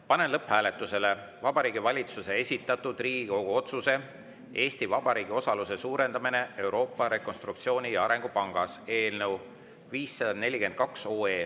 Panen lõpphääletusele Vabariigi Valitsuse esitatud Riigikogu otsuse "Eesti Vabariigi osaluse suurendamine Euroopa Rekonstruktsiooni‑ ja Arengupangas" eelnõu 542.